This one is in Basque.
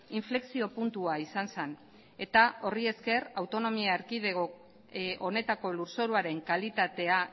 inflexio puntua izan zen eta horri esker autonomia erkidego honetako lurzoruaren kalitatea